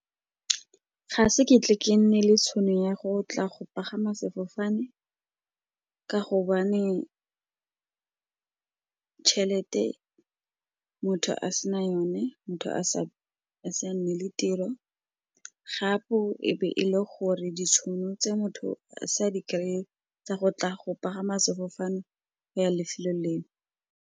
Ga se ke tle ke nne le tšhono ya go tla go pagama sefofane, ka gobane tšhelete motho a sena yone, motho a si a nne le tiro, gape e be e le gore ditšhono tse motho a sa di kry-e tsa go tla go pagama sefofane ya lefelo leo.